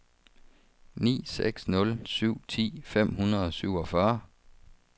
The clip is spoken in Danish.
ni seks nul syv ti fem hundrede og syvogfyrre